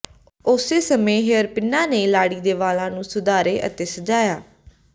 ਉਸੇ ਸਮੇਂ ਹੇਅਰਪਿੰਨਾਂ ਨੇ ਲਾੜੀ ਦੇ ਵਾਲਾਂ ਨੂੰ ਸੁਧਾਰੇ ਅਤੇ ਸਜਾਇਆ